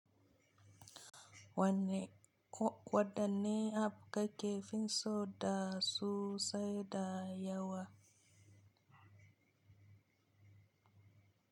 Wadanne abu kake fi so da sosai da yawa?